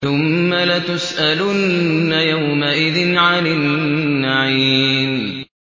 ثُمَّ لَتُسْأَلُنَّ يَوْمَئِذٍ عَنِ النَّعِيمِ